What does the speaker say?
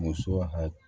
Muso hakili